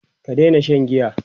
ka Daina Shan giya!